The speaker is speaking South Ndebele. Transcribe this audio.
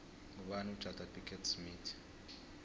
ngubani ujada pickett smith